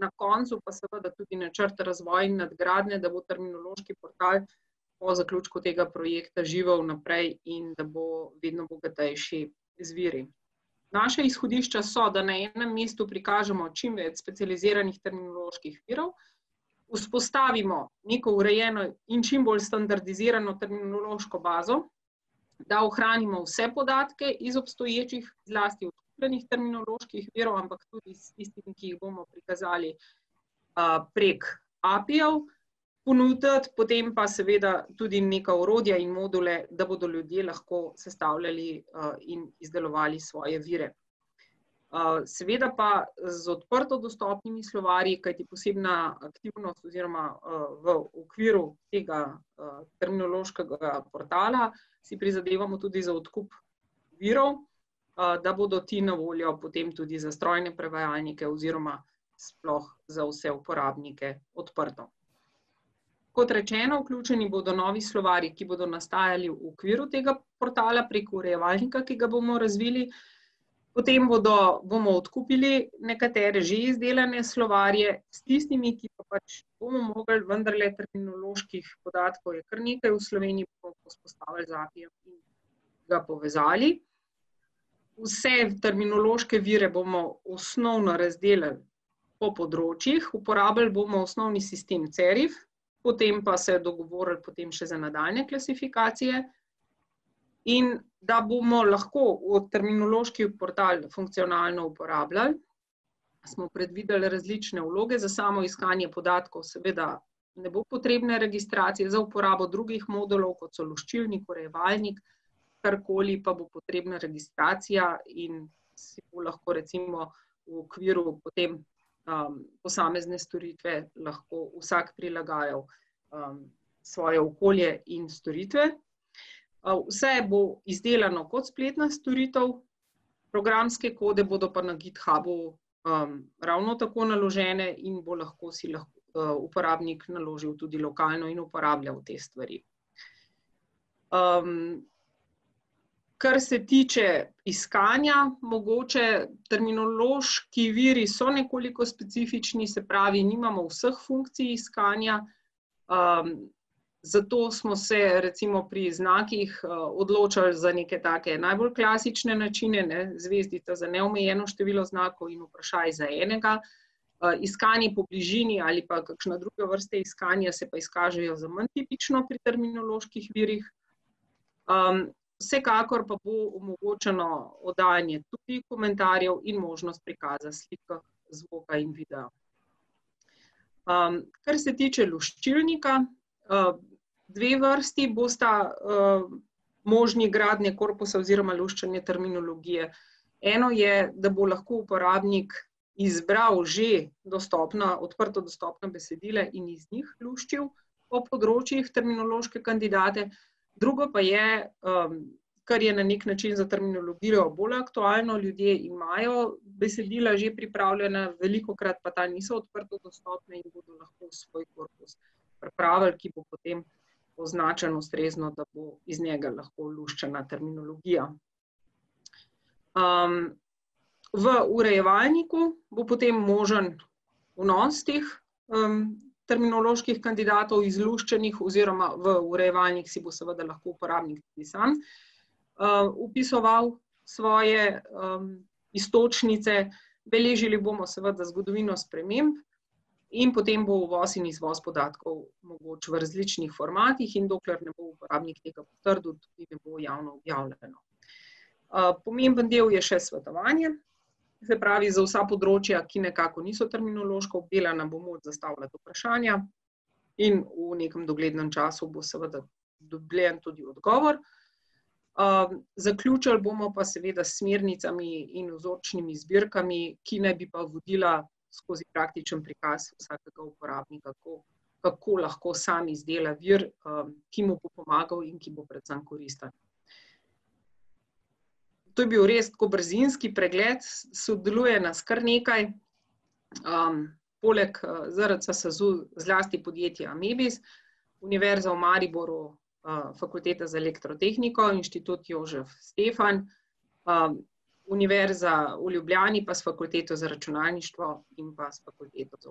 na koncu pa seveda tudi načrt razvoj in nadgradnja, da bo terminološki portal po zaključku tega projekta živel naprej in da bo vedno bogatejši z viri. Naša izhodišča so, da na enem mestu prikažemo čim več specializiranih terminoloških virov, vzpostavimo neko urejeno in čim bolj standardizirano terminološko bazo, da ohranimo vse podatke iz obstoječih, zlasti odkupljenih terminoloških virov, ampak tudi s tistimi, ki jih bomo prikazali, prek API-jev ponuditi. Potem pa seveda tudi neka orodja in module, da bodo ljudje lahko sestavljali in izdelovali svoje vire. seveda pa z odprtodostopnimi slovarji, kajti posebna aktivnost, oziroma, v okviru tega terminološkega portala si prizadevamo tudi za odkup virov, da bodo ti na voljo potem tudi za strojne prevajalnike oziroma sploh za vse uporabnike odprto. Kot rečeno, vključeni bodo novi slovarji, ki bodo nastajali v okviru tega portala prek urejevalnika, ki ga bomo razvili, potem bodo, bomo odkupili nekatere že izdelane slovarje. S tistimi, ki pa pač ne bomo mogli, vendarle terminoloških podatkov je kar nekaj v Sloveniji, pa bomo vzpostavili z API-jem in ga povezali. Vse terminološke vire bomo osnovno razdelali po področjih, uporabili bomo osnovni sistem Cerif, potem pa se dogovorili potem še za nadaljnje klasifikacije. In da bomo lahko v terminološki portal funkcionalno uporabljali, smo predvideli različne vloge, za samo iskanje podatkov seveda ne bo potrebne registracije, za uporabo drugih modulov, kot so luščilnik, urejevalnik, karkoli, pa bo potrebna registracija in si bo lahko recimo v okviru potem, posamezne storitve, lahko vsak prilagajal, svoje okolje in storitve. Vse bo izdelano kot spletna storitev, programske kode bodo pa na Githubu, ravno tako naložene in bo lahko, si lahko uporabnik naložil tudi lokalno in uporabljal te stvari. kar se tiče iskanja, mogoče. Terminološki viri so nekoliko specifični, se pravi, nimamo vseh funkcij iskanja, zato smo se recimo pri znakih odločali za neke take najbolj klasične načine, ne, zvezdica za neomejeno število znakov in vprašaj za enega. Iskanje po bližini ali pa kakšne druge vrste iskanja se pa izkažejo za manj tipično pri terminoloških virih. vsekakor pa bo omogočeno oddajanje tudi komentarjev in možnost prikaza slike, zvoka in videa. kar se tiče luščilnika, dve vrsti bosta, možni gradnje korpusa oziroma luščenje terminologije. Eno je, da bo lahko uporabnik izbiral že dostopna, odprto dostopna besedila in iz njih luščil po področjih terminološke kandidate, drugo pa je, kar je na neki način za terminologijo bolj aktualno, ljudje imajo besedila že pripravljena, velikokrat pa ta niso odprtodostopna in bodo lahko svoj korpus pripravili, ki bo potem označen ustrezno, da bo iz njega lahko luščena terminologija. v urejevalniku bo potem možen vnos teh, terminoloških kandidatov izluščenih oziroma v urejevalnik si bo seveda lahko uporabnik tudi sam, vpisoval svoje, iztočnice, beležili bomo seveda zgodovino sprememb in potem bo uvoz in izvoz podatkov mogoč v različnih formatih, in dokler ne bo uporabnik ne bo tega potrdil, tudi ne bo javno objavljeno. pomemben del je še svetovanje, se pravi za vsa področja, ki nekako niso terminološko obdelana, bo moč zastavljati vprašanja, in v nekem doglednem času bo seveda dobljen tudi odgovor. zaključili bomo pa seveda s smernicami in vzorčnimi zbirkami, ki naj bi pa vodila skozi praktičen prikaz vsakega uporabnika, kako kako lahko samo izdela vir, ki mu pomagal in ki bo predvsem koristen. To je bil res tako brzinski pregled, sodeluje nas kar nekaj. poleg ZRC SAZU zlasti podjetje Amebis, Univerza v Mariboru, Fakulteta za elektrotehniko, Inštitut Jožef Stefan, Univerza v Ljubljani pa s Fakulteto za računalništvo in pa s Fakulteto za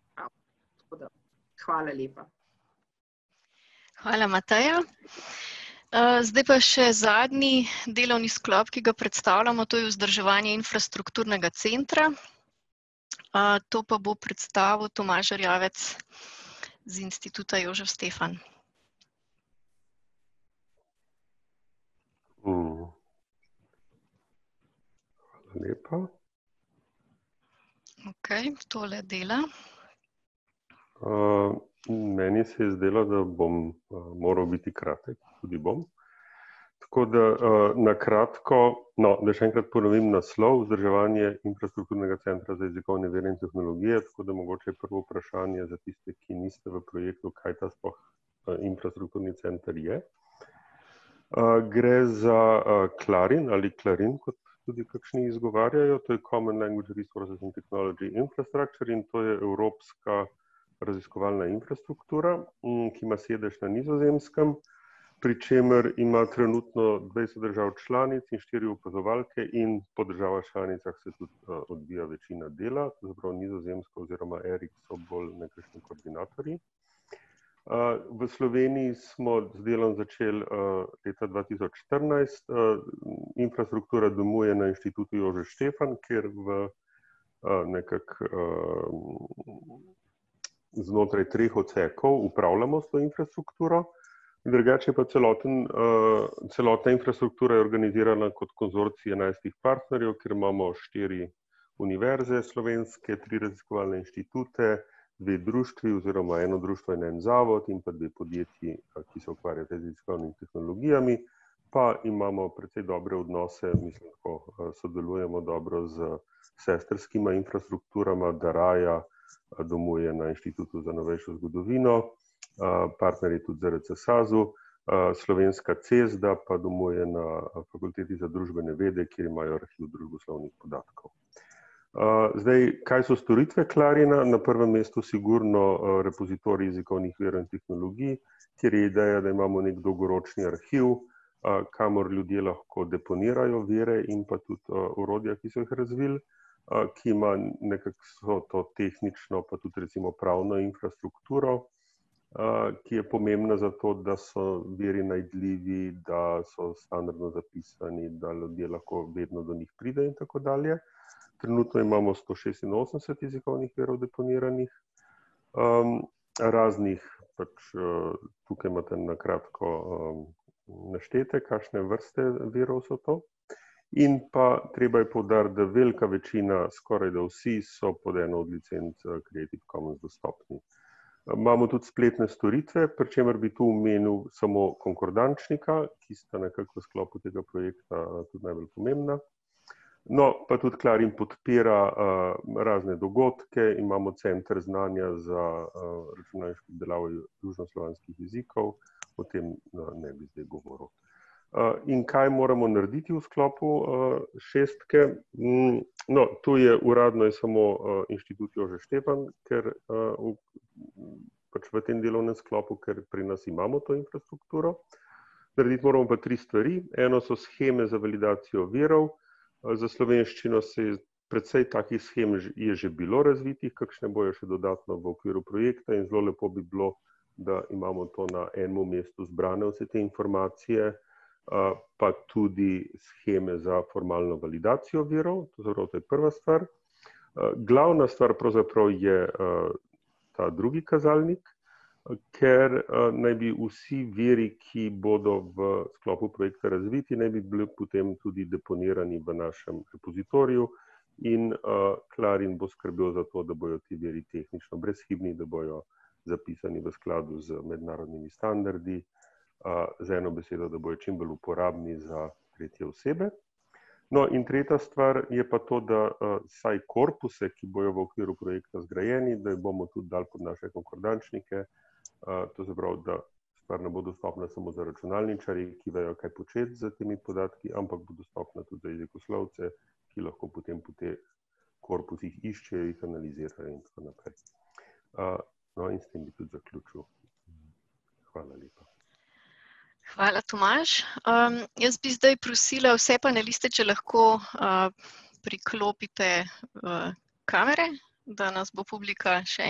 upravo. Tako da, hvala lepa. Hvala, Mateja. zdaj pa še zadnji delovni sklop, ki ga predstavljamo, to je vzdrževanje infrastrukturnega centra. to pa bo predstavil Tomaž Erjavec, z Instituta Jožef Stefan. Hvala lepa. Okej, tole dela. meni se je zdelo, da bom moral biti kratek, tudi bom. Tako da, na kratko, no, da še enkrat ponovim naslov, Vzdrževanje infrastrukturnega centra za jezikovne vire in tehnologije, tako da mogoče prvo vprašanje za tiste, ki niste v projektu, kaj to sploh, infrastrukturni center je. gre za Clarin ali Clarin, kot tudi kakšni izgovarjajo, to je Common language resources in technology infrastructure, in to je evropska raziskovalna infrastruktura, ki ima sedež na Nizozemskem, pri čemer ima trenutno dvajset držav članic in štiri opazovalke in po državah članicah se tudi, odvija večina dela, pravzaprav Nizozemska oziroma Eric so bolj nekakšni koordinatorji. v Sloveniji smo z delom začeli, leta dva tisoč štirinajst, infrastruktura domuje na Inštitutu Jožef Stefan, kjer v, nekako, v, znotraj treh odsekov upravljamo s to infrastrukturo, drugače je pa celoten, celotna infrastruktura je organizirana kot konzorcij enajstih partnerjev, kjer imamo štiri univerze slovenske, tri raziskovalne inštitute, dve društvi, oziroma eno društvo in en zavod, in pa dve podjetji, ki se ukvarjata z raziskovalnimi tehnologijami. Pa imamo predvsem dobre odnose, mislim tako, sodelujemo dobro s sestrskima infrastrukturama Dariah, domuje na Inštitutu za novejšo zgodovino, partner je tudi ZRC SAZU, Slovenska CESDA pa domuje na Fakulteti za družbene vede, kjer imajo arhiv družboslovnih podatkov. zdaj, kaj so storitve Clarina, na prvem mestu sigurno repozitorij jezikovnih virov in tehnologij, kjer je ideja, da imamo neki dolgoročni arhiv, kamor ljudje lahko deponirajo vire in pa tudi orodja, ki so jih razvili, ki ima nekako vso to tehnično pa tudi recimo pravno infrastrukturo, ki je pomembna zato, da so viri najdljivi, da so standardno zapisani, da ljudje lahko vedno do njih pridejo in tako dalje. Trenutno imamo sto šestinosemdeset jezikovnih virov deponiranih, raznih pač, tukaj imate na kratko naštete, kakšne vrste virov so to, in pa treba je poudariti, da velika večina, skorajda vsi, so pod eno licenco Creative commons dostopni. Imamo tudi spletne storitve, pri čemer bi tu omenil samo konkordančnika, ki sta nekako v sklopu tega projekta tudi najbolj pomembna. No, pa tudi Clarin podpira, razne dogodke, imamo Center znanja za, računalniških južnoslovanskih jezikov, potem, no, ne bi zdaj govoril. in kaj moramo narediti v sklopu, šestke? No, tu je uradno je samo Inštitut Jožef Stefan, ker, pač v tem delovnem sklopu, ker pri nas imamo to infrastrukturo. Narediti moramo pa tri stvari, eno so sheme za validacijo virov, za slovenščino se je precej takih shem je že bilo razvitih, kakšne bodo še dodatno v okviru projekta, in zelo lepo bi bilo, da imamo to na enem mestu zbrane vse te informacije, pa tudi sheme za formalno validacijo virov, se pravi to je prva stvar. Glavna stvar pravzaprav je, ta drugi kazalnik, ker, naj bi vsi viri, ki bodo v sklopu projekta razviti, naj bi bili potem tudi deponirani v našem repozitoriju in, Clarin bo skrbel za to, da bojo ti deli tehnično brezhibni, da bojo zapisani v skladu z mednarodnimi standardi, z eno besedo, da bojo čim bolj uporabni za tretje osebe. No, in tretja stvar je pa to, da saj korpuse, ki bojo v okviru projekta zgrajeni, da jih bomo tudi dali kot naše konkordančnike, to se pravi, da stvar ne bo dostopna samo za računalničarje, ki vejo, kaj početi s temi podatki, ampak bo dostopna tudi za jezikoslovce, ki lahko potem po teh korpusih iščejo, jih analizirajo in tako naprej. no, in s tem bi tudi zaključil. Hvala lepa. Hvala, Tomaž. jaz bi zdaj prosila vse paneliste, če lahko, priklopite, kamere, da nas bo publika še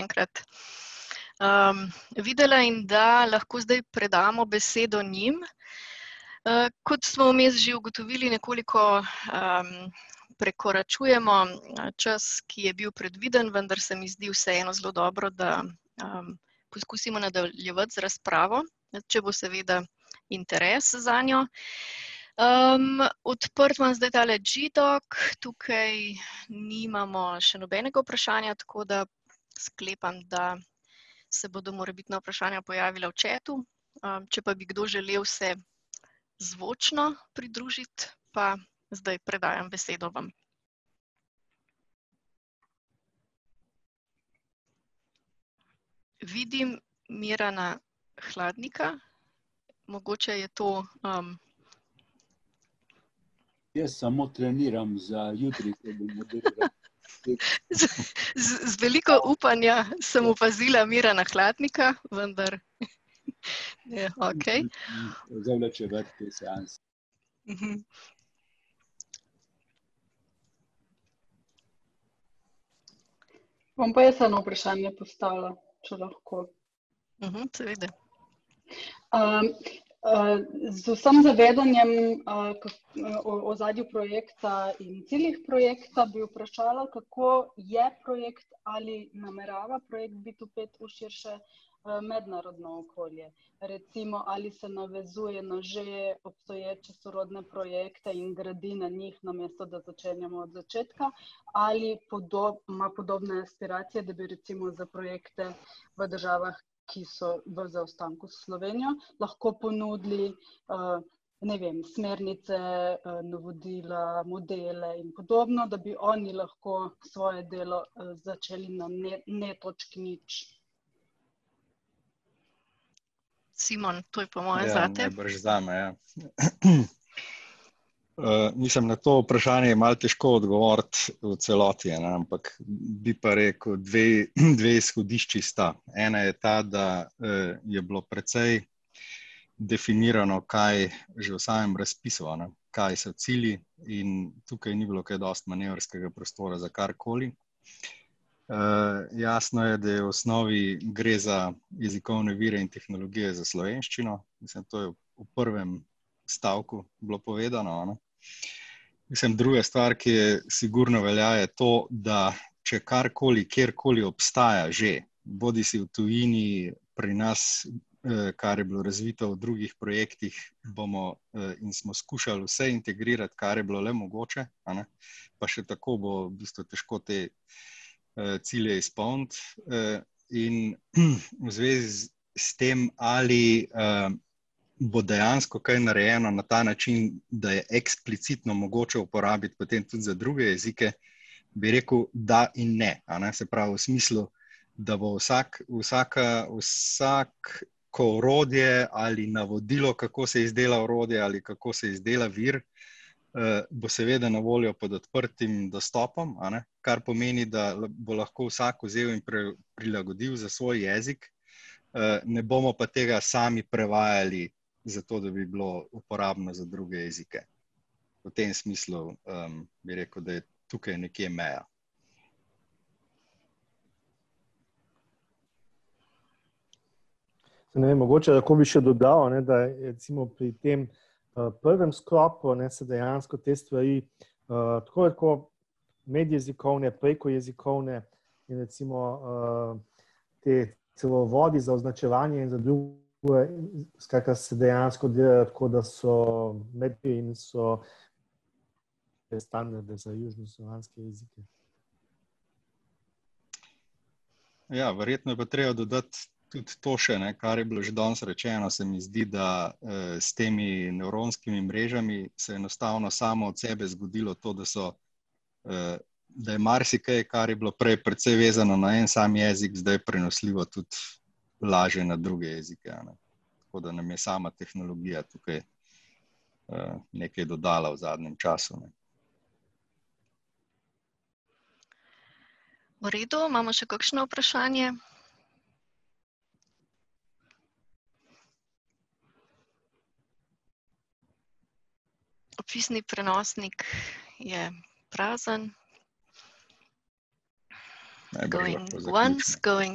enkrat, videla in da lahko zdaj predamo besedo njim. kot smo vmes že ugotovili, nekoliko, prekoračujemo čas, ki je bil predviden, vendar se mi zdi vseeno zelo dobro, da, poskusimo nadaljevati z razpravo, če bo seveda interes zanjo. odprt imam zdaj tale G doc, tukaj nimamo še nobenega vprašanja, tako da sklepam, da se bodo morebitna vprašanja pojavila v chatu, če pa bi kdo želel se zvočno pridružiti, pa zdaj predajam besedo vam. Vidim Mirana Hladnika, mogoče je to, ... Jaz samo treniram za jutri, ko bomo ... z veliko upanja sem opazila Mirana Hladnika, vendar je okej ... Zavlačevati te seanse ... Bom pa jaz eno vprašanje postavila, če lahko. seveda. z vsem zavedanjem, o ozadju projekta in ciljih projekta bi vprašala, kako je projekt ali namerava projekt biti vpet v širše mednarodno okolje, recimo ali se navezuje na že obstoječe sorodne projekte in gradi na njih, namesto da začenjamo od začetka ali ima podobne inspiracije, da bi recimo za projekte v državah, ki so bolj v zaostanku s Slovenijo, lahko ponudili, ne vem, smernice, navodila, modele in podobno, da bi oni lahko svoje delo začeli na ne točki nič. Simon, to je po moje zate. Ja, najbrž zame, ja. mislim na to vprašanje je malo težko odgovoriti v celoti, a ne, ampak bi pa rekel dve, dve izhodišči sta. Ena je ta, da, je bilo precej definirano kaj, že v samem razpisu, a ne, kaj so cilji in tukaj ni bilo kaj dosti manevrskega prostora za karkoli. jasno je, da je v osnovi, gre za jezikovne vire in tehnologijo za slovenščino, mislim, to je v prvem stavku bilo povedano, a ne. Mislim, druga stvar, ki je, sigurno velja, je to, da če karkoli, kjerkoli obstaja že bodisi v tujini, pri nas, kar je bilo razvito v drugih projektih, bomo, in smo skušali vse integrirati, kar je bilo le mogoče, a ne, pa še tako bo v bistvu težko te, cilje izpolniti. in v zvezi s tem ali, bo dejansko kaj narejeno na ta način, da je eksplicitno mogoče uporabiti potem tudi za druge jezike, bi rekel da in ne, eni, se pravi v smislu, da bo vsak, vsaka, vsak ko orodje ali navodilo, kako se izdela orodje ali kako se izdela vir, bo seveda na voljo pod odprtim dostopom, a ne, kar pomeni, da bo lahko vsak vzel in prilagodil za svoj jezik. ne bomo pa tega sami prevajali, zato da bi bilo uporabno za druge jezike. V tem smislu, bi rekel, da je tukaj nekje meja. Ne vem, mogoče lahko bi še dodal, a ne, da je recimo pri tem prvem sklopu, a ne, se dejansko te stvari, tako ali tako medjezikovne, prekojezikovne in recimo, ti cevovodi za označevanje in za , skratka, se dejansko delajo tako, da so in so ... te standarde za južnoslovanske jezike. Ja, verjetno je pa treba dodati tudi to še, ne, kar je bilo že danes rečeno, se mi zdi, da, s temi nevronskimi mrežami se enostavno samo od sebe zgodilo to, da so, da je marsikaj, kar je bilo prej precej vezano na en sam jezik, zdaj prenosljivo tudi lažje na druge jezike, a ne. Tako da nam je sama tehnologija tukaj, nekaj dodala v zadnjem času, ne. V redu, imamo še kakšno vprašanje? Opisni prenosnik je prazen. lahko zaključimo. Going once, going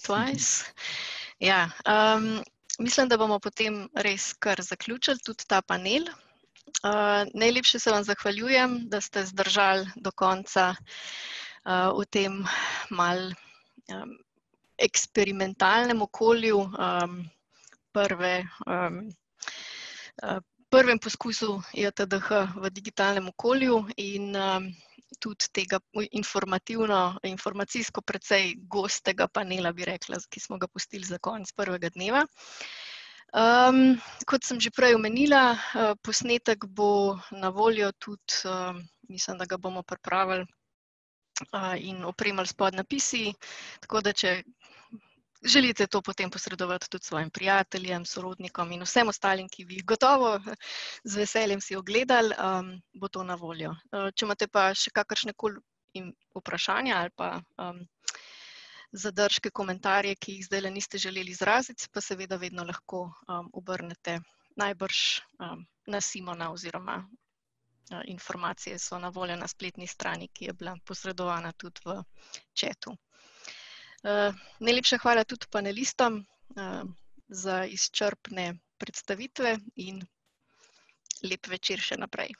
twice Ja, mislim, da bomo potem res kar zaključili tudi ta panel. najlepše se vam zahvaljujem, da ste zdržali do konca, v tem malo, eksperimentalnem okolju, prve, prvem poizkusu JTDH v digitalnem okolju in, tudi tega informativno, informacijsko precej gostega panela, bi rekla, ki smo ga pustili za konec prvega dneva. kot sem že prej omenila, posnetek bo na voljo tudi, mislim, da ga bomo pripravili in opremili s podnapisi, tako da če želite to potem posredovati tudi svojim prijateljem, sorodnikom in vsem ostalim, ki bi jih gotovo, z veseljem si ogledali, bo to na voljo. če imate pa še kakršnekoli in vprašanja ali pa, zadržke, komentarje, ki jih zdajle niste želel izraziti, se pa seveda vedno lahko, obrnete najbrž, na Simona oziroma informacije so na voljo na spletni strani, ki je bila posredovana tudi v chatu. najlepša hvala tudi panelistom, za izčrpne predstavitve in lep večer še naprej.